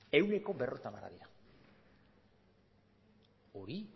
ehuneko berrogeita hamara dira hori